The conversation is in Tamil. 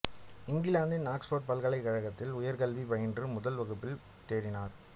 இங்கிலாந்தின் ஆக்ஸ்போர்டு பல்கலைக்கழகத்தில் உயர்கல்வி பயின்று முதல் வகுப்பில் தேறினார்